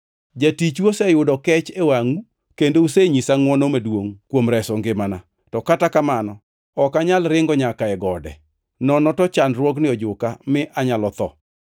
Jatichu oseyudo kech e wangʼu, kendo usenyisa ngʼwono maduongʼ kuom reso ngimana. To kata kamano ok anyal ringo nyaka e gode; nono to chandruogni ojuka mi anyalo atho.